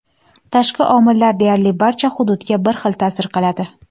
Tashqi omillar deyarli barcha hududga bir xil ta’sir qiladi.